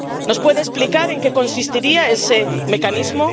¿Nos puede explicar en qué consistiría ese mecanismo?